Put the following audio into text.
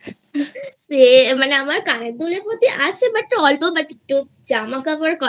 সেই মানে আমার কানের দুলের প্রতি আছে But অল্প But একটু জামা কাপড়ের